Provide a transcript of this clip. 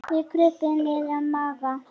Þeir krupu niður að Magga.